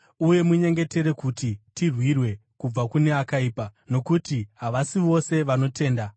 Uye munyengetere kuti tirwirwe kubva kune akaipa, nokuti havasi vose vanotenda.